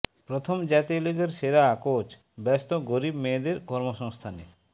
প্রথম জাতীয় লিগের সেরা কোচ ব্যস্ত গরিব মেয়েদের কর্মসংস্থানে